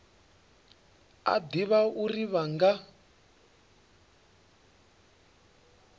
a ḓivha uri vha nga